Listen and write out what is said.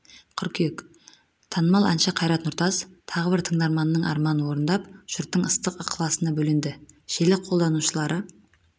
қыркүйек танымал әнші қайрат нұртас тағы бір тыңдарманының арманын орындап жұрттың ыстық ықыласына бөленді желі қолданушылары